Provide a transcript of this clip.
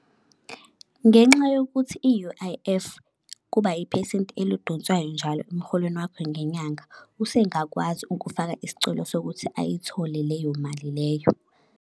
Ngenxa yokuthi i-U_I_F kuba iphesenti elidonswayo njalo emholweni wakho ngenyanga, usengakwazi ukufaka isicelo sokuthi ayithole leyo mali leyo.